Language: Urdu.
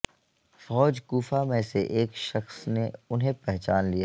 فوج کوفہ میں سے ایک شخصنے انہیں پہچان لیا